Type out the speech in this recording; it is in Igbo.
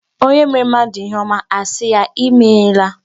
Onye meere mmadụ ihe ọma, a sị ya imeela.